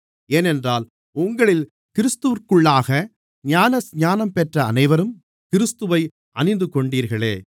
ஏனென்றால் உங்களில் கிறிஸ்துவிற்குள்ளாக ஞானஸ்நானம் பெற்ற அனைவரும் கிறிஸ்துவை அணிந்துகொண்டீர்களே